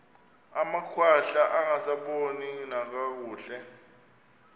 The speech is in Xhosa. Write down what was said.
amakhwahla angasaboni nakakuhle